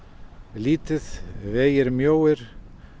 lítið vegir mjóir